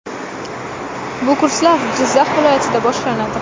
Bu kurslar Jizzax viloyatida boshlanadi.